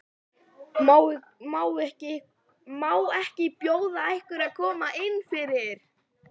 Má ekki bjóða ykkur að koma innfyrir?